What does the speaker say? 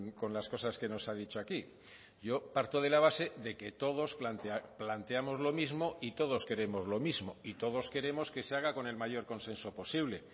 con las cosas que nos ha dicho aquí yo parto de la base de que todos planteamos lo mismo y todos queremos lo mismo y todos queremos que se haga con el mayor consenso posible